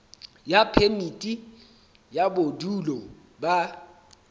ya phemiti ya bodulo ba